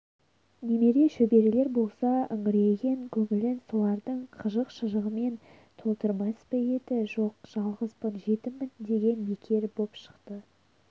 немере-шөберелер болса үңірейген көңілін солардың қызық-шыжығымен толтырмас па еді жоқ жалғызбын жетіммін деген бекер боп шықты